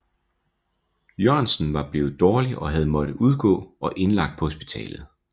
Jørgensen blevet dårlig og havde måttet udgå og indlagt på hospitalet